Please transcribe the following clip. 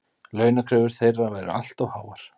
Launakröfur þeirra væru allt of háar